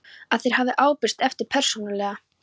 að þeir hafi ábyrgst efndir persónulega.